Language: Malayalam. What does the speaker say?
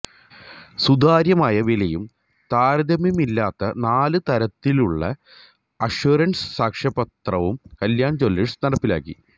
സുതാര്യമായ വിലയും താരതമ്യമില്ലാത്ത നാല് തലത്തിലുള്ള അഷ്വറന്സ് സാക്ഷ്യപത്രവും കല്യാണ് ജൂവലേഴ്സ് നടപ്പിലാക്കി